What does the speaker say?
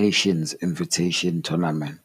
Nations Invitational Tournament.